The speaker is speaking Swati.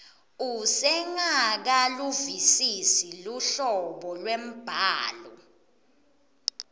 usengakaluvisisi luhlobo lwembhalo